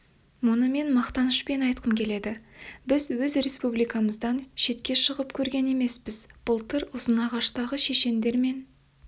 мұны мен мақтанышпен айтқым келеді біз өз республикамыздан шетке шығып көрген емеспіз былтыр ұзынағаштағы шешендер мен